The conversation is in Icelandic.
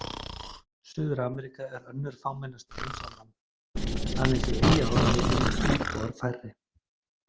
Suður-Ameríka er önnur fámennasta heimsálfan, aðeins í Eyjaálfu eru íbúarnir færri.